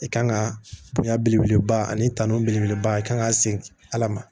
I kan ka bonya belebeleba ani tanu belebeleba i kan ka se ala ma